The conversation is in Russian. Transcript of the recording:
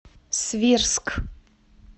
свирск